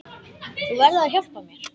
Þú verður að hjálpa mér.